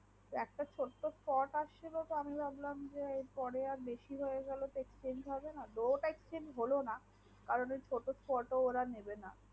একটা ছোট্ট স্পট এসেছে আমি ভাবলাম যে পরে আর বেশি হয়ে গেলে তো exchange হবেনা তো ওটাই exchange হলোনা আর ওই ছোট স্পট ও নেবেন